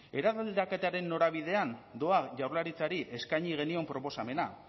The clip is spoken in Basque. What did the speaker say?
eraldaketaren norabidean doa jaurlaritzari eskaini genion proposamena